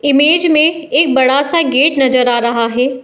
Image में एक बड़ा सा गेट नजर आ रहा है।